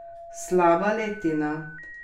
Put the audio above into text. Slaba letina?